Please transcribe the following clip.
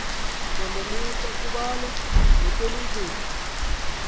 mpondomise kubalwa nozwelinzima